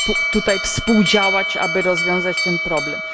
tutaj współdziałać, aby rozwiązać ten problem.